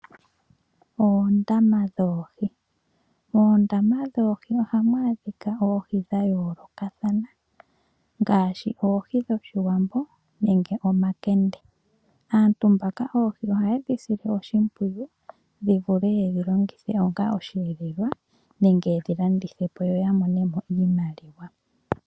Oondama dhoohi . Moondama dhoohi ohamu adhika oohi dhayoolokathana ngaashi oohi dhOshiwambo nenge omakende . Aantu mbaka oohi ohaye dhi sile oshimpwiyu dhivule yedhi longithe onga osheelelwa nenge yedhi landithepo yoya monemo iimaliwa.